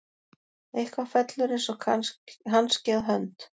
Eitthvað fellur eins og hanski að hönd